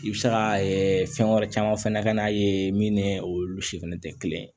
I bɛ se ka fɛn wɛrɛ caman fana ka n'a ye min ni olu si fɛnɛ tɛ kelen ye